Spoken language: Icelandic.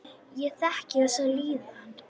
Ég þekki þessa líðan.